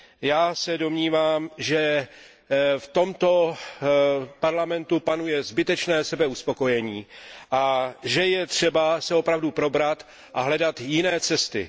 Já se domnívám, že v tomto parlamentu panuje zbytečné sebeuspokojení a že je třeba se opravdu probrat a hledat jiné cesty.